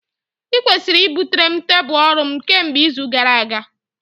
Ị kwesịrị butere m tebụl ọrụ m kemgbe izu gara aga!